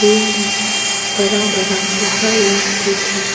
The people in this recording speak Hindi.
में बड़ा बड़ा पहाड़ लोग भी है।